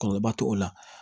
Kɔlɔlɔ ba t'o la